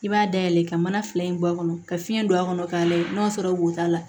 I b'a dayɛlɛn ka mana fila in bɔ a kɔnɔ ka fiɲɛ don a kɔnɔ k'a layɛ n'o y'a sɔrɔ wo t'a la